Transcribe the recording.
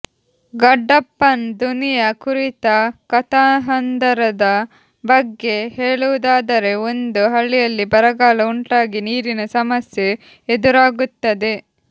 ಗಡ್ಡಪ್ಪನ್ ದುನಿಯಾ ಕುರಿತ ಕಥಾಹಂದರದ ಬಗ್ಗೆ ಹೇಳುವುದಾದರೆ ಒಂದು ಹಳ್ಳಿಯಲ್ಲಿ ಬರಗಾಲ ಉಂಟಾಗಿ ನೀರಿನ ಸಮಸ್ಯೆ ಎದುರಾಗುತ್ತದೆ